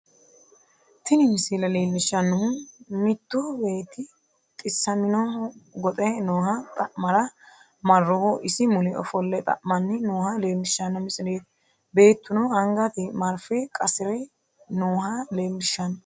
Tini misile leellishshannohu mittu beetti xissaminohu goxe nooha xa'mara marrohu isi mule ofolle xa'manni nooha leellishshanno misileeti, beetuno angate marfe qasi're nooha leellishshanno.